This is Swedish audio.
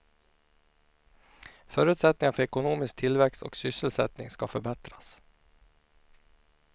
Förutsättningarna för ekonomisk tillväxt och sysselsättning ska förbättras.